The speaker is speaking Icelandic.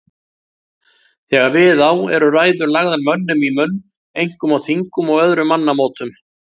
Þegar við á eru ræður lagðar mönnum í munn, einkum á þingum og öðrum mannamótum.